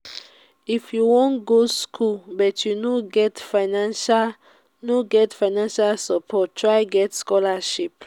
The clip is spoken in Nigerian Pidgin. if you wan go skool but you no get financial no get financial support try get scholarship.